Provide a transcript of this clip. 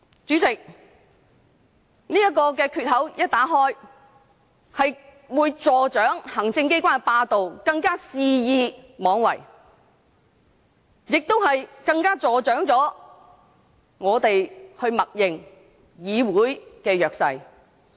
主席，這個缺口一旦打開，便會助長行政機關的霸道，行政機關會更肆意妄為，也會助長我們默認的議會弱勢。